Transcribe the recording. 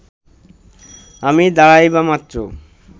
আমি দাঁড়াইবামাত্র